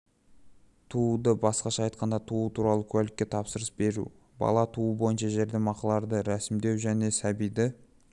туды басқаша айтқанда туу туралы куәлікке тапсырыс беру бала туу бойынша жәрдемақыларды рәсімдеу және сәбиді